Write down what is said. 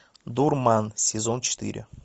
дурман сезон четыре